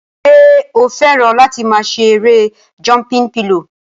Ṣé o fẹ́ràn láti máa ṣe erée jọmpin pilò?